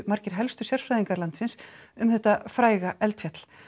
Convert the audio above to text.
margir helstu sérfræðingar landsins um þetta fræga eldfjall